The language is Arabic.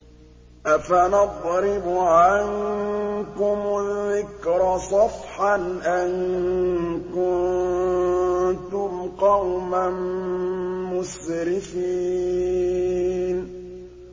أَفَنَضْرِبُ عَنكُمُ الذِّكْرَ صَفْحًا أَن كُنتُمْ قَوْمًا مُّسْرِفِينَ